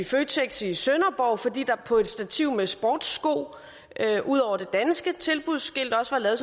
føtex i sønderborg fordi der på et stativ med sportssko ud over det danske tilbudsskilt også var lavet